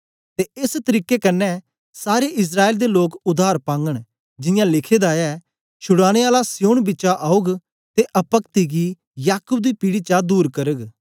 ते एस तरीके कन्ने सारे इस्राएल दे लोक उद्धार पागन जियां लिखे दा ऐ छुड़ाने आला सिय्योन बिचा औग ते अपक्ति गी याकूब दी पीढ़ी चा दूर करग